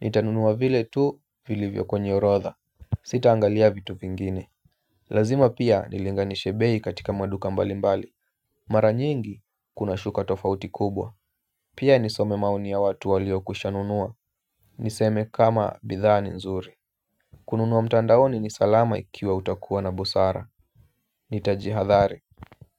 Nitanunua vile tu vilivyo kwenye orodha. Sita angalia vitu vingine. Lazima pia nilinganishe bei katika maduka mbali mbali. Mara nyingi kuna shuka tofauti kubwa. Pia nisome maoni ya watu waliokwishanunua. Niseme kama bidhaa ni nzuri. Kununua mtandaoni ni salama ikiwa utakuwa na busara. Nitajihadhari.